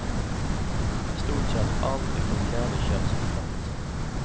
I stort sett allt utom kläder köps på plats.